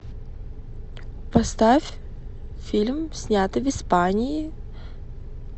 поставь фильм снятый в испании